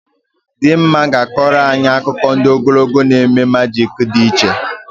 Dimma ga-akọrọ anyị akụkọ ndị ogologo na eme majik dị iche